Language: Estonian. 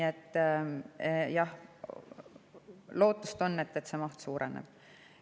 Jah, lootust on, et see maht suureneb.